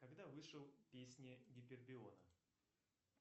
когда вышел песни гипериона